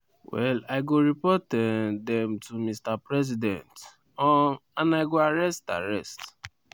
well i go report um dem to mr president um and i go arrest arrest